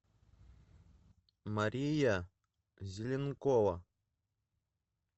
мария зеленкова